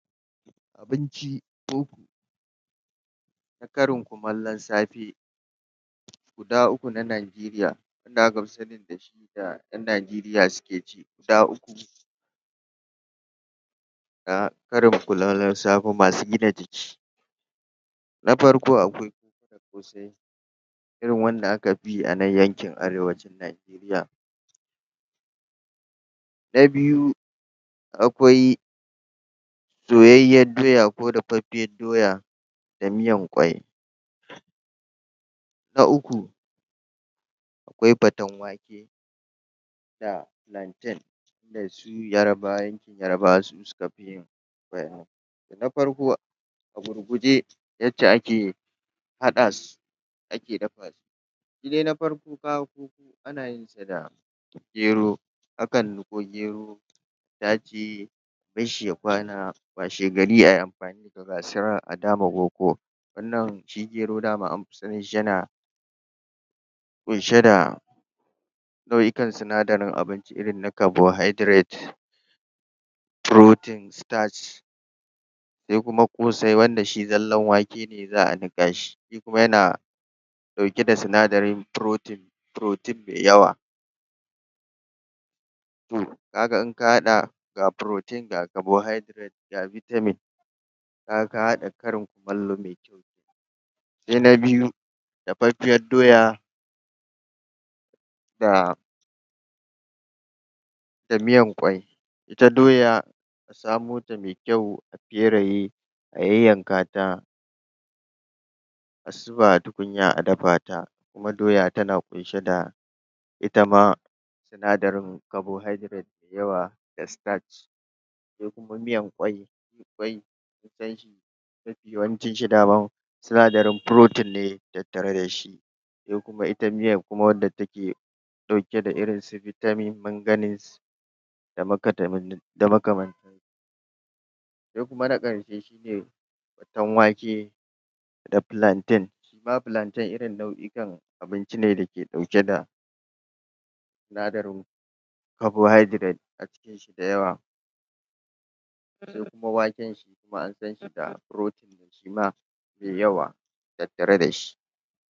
Abinci na karin kumallon safe, guda uku na Nigeria wanda aka fi sani da su ƴan Nigeria suke ci guda uku na karin kurarllon safe masu gina jiki: Na farko akwai ƙosai, irin wanda aka fi yi a nan yankin arewacin Nigeria na biyu, akwai soyayyiyad doya ko dafaffiyad doya da miyan ƙwai. Na uku, akwai faten wake da plantain wanda su yarbawa ne yarbawa su suka fi yin irin wa'innan. Na farko, a gurguje yacce ake haɗa su ake dafa shi, shi dai na farko appu ana yin sa da gero, a kan niƙo gero a tace a bash shi ya kwana, washegari ai amfani da gasarar a dama koko, wannan shi ke nuna ma anfi sanin shi yana ƙunshe da nau'ikan sinadarin abinci irin na carbonhydrate, protein, starch. Sai kuma ƙosai wanda shi zallan wake ne za'a niƙa shi, shi kuma yana ɗauke da sinadarin protein, protein me yawa um kaga in ka haɗa ga protein ga carbohydrate ga vitamin kaga ka haɗa karin kumallo me kyau. Se na biyu, dafaffiyad doya da da miyan ƙwai, ita doya a samo ta me kyau, a feraye, a yanyanka ta, a suba a tukunya a dafa ta, kuma doya tana ƙunshe da ita ma sinadarin carbohydrate me yawa da starch se kuma miyan ƙwai, ƙwai, ƙwai ita yawancin shi dama sinadarin protein ne tattare da shi, se kuma ita miyan kuma wanda take ɗauke da irin su vitamin, manganese da da makamanta. Sai kuma na ƙarke shi ne faten wake da plaintain shi ma plaintain irin nau'ikan abincin ne da ke ɗauke da sinadarin carbohydrate a cikin shi da yawa, sai kuma waken shi kuma an san shi nau'ikan abinci ne da ke protein shi ma me yawa tattare da shi.